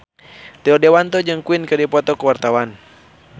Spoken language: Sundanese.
Rio Dewanto jeung Queen keur dipoto ku wartawan